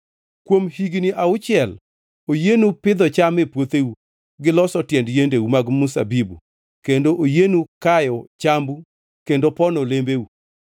Kuom higni auchiel oyienu pidho cham e puotheu, gi loso tiend yiendeu mag mzabibu kendo oyienu kayo chambu kendo pono olembeu.